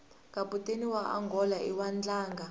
kaputeni waangola iwadlanga